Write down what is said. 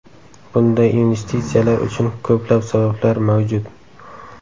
Bunday investitsiyalar uchun ko‘plab sabablar mavjud.